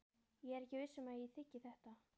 Ég er ekki viss um að ég þiggi þetta.